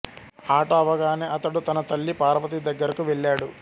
ఆట అవగానే అతడు తన తల్లి పార్వతి దగ్గరకు వెళ్ళాడు